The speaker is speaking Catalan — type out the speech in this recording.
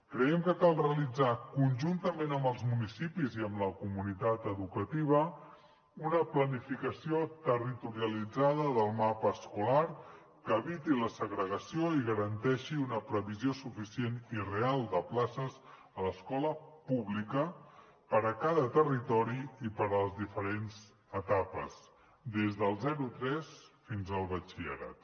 creiem que cal realitzar conjuntament amb els municipis i amb la comunitat educativa una planificació territorialitzada del mapa escolar que eviti la segregació i garanteixi una previsió suficient i real de places a l’escola pública per a cada territori i per a les diferents etapes des del zerotres fins al batxillerat